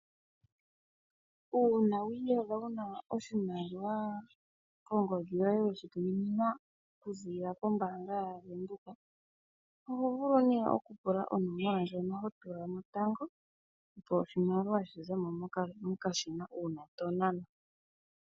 Uuna wu iyadha wuna oshimaliwa kongodhi yoye weshituminwa okuzilila kombanga yaVendheoka oho vulu oku pula onomola ndjono ho tulamo tango opo oshimaliwashi zemo mokashina uuna to nana.